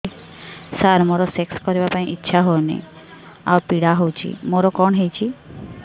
ସାର ମୋର ସେକ୍ସ କରିବା ପାଇଁ ଇଚ୍ଛା ହଉନି ଆଉ ପୀଡା ହଉଚି ମୋର କଣ ହେଇଛି